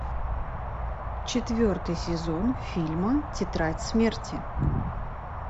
четвертый сезон фильма тетрадь смерти